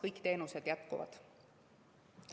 Kõik teenused jätkuvad.